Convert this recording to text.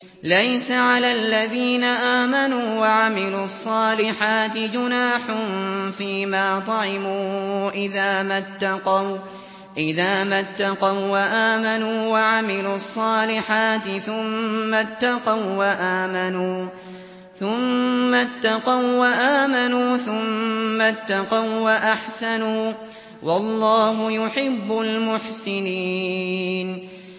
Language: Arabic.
لَيْسَ عَلَى الَّذِينَ آمَنُوا وَعَمِلُوا الصَّالِحَاتِ جُنَاحٌ فِيمَا طَعِمُوا إِذَا مَا اتَّقَوا وَّآمَنُوا وَعَمِلُوا الصَّالِحَاتِ ثُمَّ اتَّقَوا وَّآمَنُوا ثُمَّ اتَّقَوا وَّأَحْسَنُوا ۗ وَاللَّهُ يُحِبُّ الْمُحْسِنِينَ